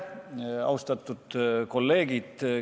Austatud kolleegid!